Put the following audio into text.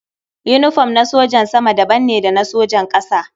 Yinifom na sojan sama daban ne da na sojan ƙasa.